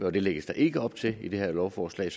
og det lægges der ikke op til i det her lovforslag